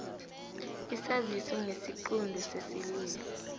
isaziso ngesiqunto sesililo